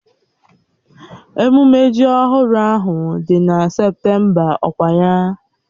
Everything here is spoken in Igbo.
Ememme ji ọhụrụ ahụ dị na Septemba ọkwa ya?